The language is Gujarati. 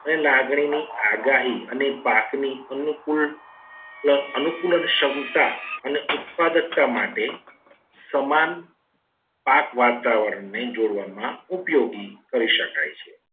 અને લાગણીની આગાહી અને પાકની અનુકૂળ plus અનુક અનુકૂળ ક્ષમતા અને ઉત્પાદકતા માટે સમાન પાક વાતાવરણને જોડવામાં ઉપયોગી કરી શકાય છે.